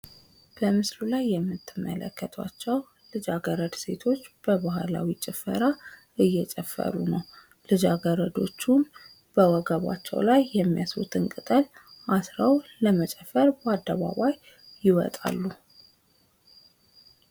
በምስሉ ላይ የምትመለከቷቸው ልጃገረድ ሴቶች በባህላዊ ጭፈራ እዬጨፈሩ ነው። ላጃገረዶቹም በወገባቸው ላይ የሚያስሩትን ቅጠል አስረው ለመጨፈር ይወጣሉ።